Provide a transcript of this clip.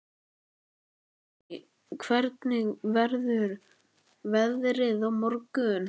Lingný, hvernig verður veðrið á morgun?